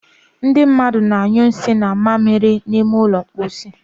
Ndị mmadụ na-anyu nsì na mmamiri n'ime ụlọ mposi